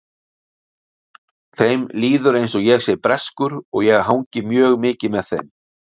Þeim líður eins og ég sé breskur og ég hangi mjög mikið með þeim.